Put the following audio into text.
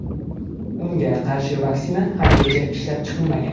Unga qarshi vaksina haligacha ishlab chiqilmagan.